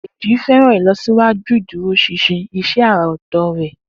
Deji fẹ́ràn ìlọsíwájú ìdúróṣinṣin iṣẹ́ àrà ọ̀tọ̀ rẹ̀.